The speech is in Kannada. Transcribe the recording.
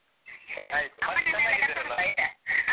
ಸರಿ ಕರ್ಕೋಂಡ್ ಬಾ, ಆಯ್ತಾ ಆ.